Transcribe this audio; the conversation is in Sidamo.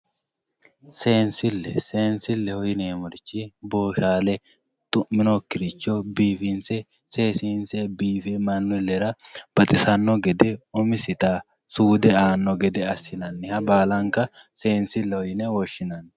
Seensile seensile yinemorochi bolaale bifinse seseinse woremoricho gede baalanka seensileho yine woshinani yaate.